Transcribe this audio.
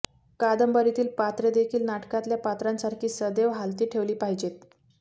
कादंबरीतील पात्रेदेखील नाटकातल्या पात्रांसारखी सदेव हालती ठेवली पाहिजेत